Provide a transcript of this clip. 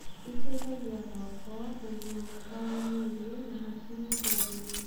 ĩteithagia gwaka ũgima mwega wa mwĩrĩ na hakiri theru.